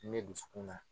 Ne dusukun na